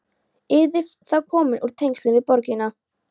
Yrðir þá komin úr tengslum við borgina.